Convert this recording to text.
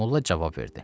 Molla cavab verdi.